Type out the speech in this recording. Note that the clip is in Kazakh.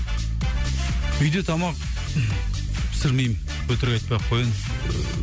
үйде тамақ пісірмеймін өтірік айтпай ақ кояйын